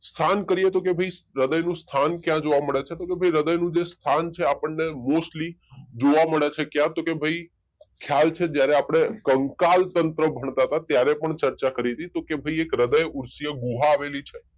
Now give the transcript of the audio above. સ્થાન કરીએ તો ભાઈ હૃદયનું સ્થાન ક્યાં જોવ મળે છે તો ભાઈ હૃદયનું જે સ્થાન છે આપણને મોસ્ટલી જોવા મળે છે ક્યાં તો ભાઈ ખ્યાલ છે જયારે આપણે કંકાલ તંત્ર ભળતા હતા ત્યારે પણ ચર્ચા કરી હતી કે ભાઈ એક હૃદયઉસ્ય ગુહા આવેલી છે